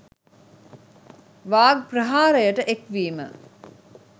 වාග් ප්‍රහාරයට එක් වීම